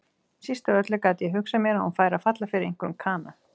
Síst af öllu gat ég hugsað mér að hún færi að falla fyrir einhverjum kana.